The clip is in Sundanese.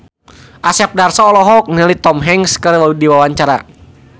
Asep Darso olohok ningali Tom Hanks keur diwawancara